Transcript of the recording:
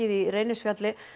í Reynisfjalli